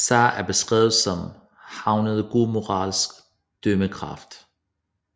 Sazh er beskrevet som havende god moralsk dømmekraft